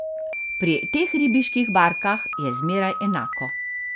Pri teh ribiških barkah je zmeraj enako.